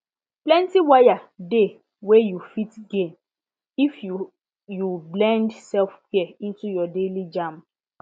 plenty waya dey wey you fit gain if you you blend selfcare into your daily jam